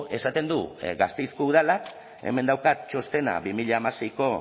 esaten du gasteizko udalak hemen daukat txostena dos mil dieciséis